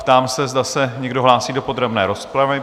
Ptám se, zda se někdo hlásí do podrobné rozpravy?